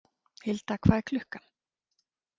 Hilda, hvað er klukkan?